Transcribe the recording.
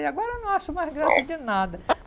E agora eu não acho mais graça de nada.